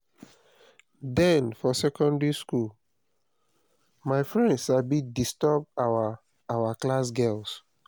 den for secondary school my friends sabi disturb our our class girls